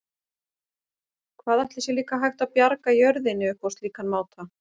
Hvað ætli sé líka hægt að bjarga jörðinni upp á slíkan máta?